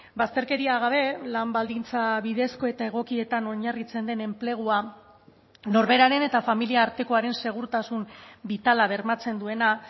bazterkeria gabe lan baldintza bidezko eta egokietan oinarritzen den enplegua norberaren eta familia artekoaren segurtasun bitala bermatzen duena